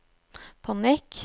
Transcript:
panikk